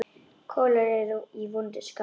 Kolur er í vondu skapi.